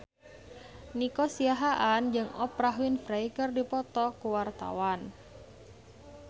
Nico Siahaan jeung Oprah Winfrey keur dipoto ku wartawan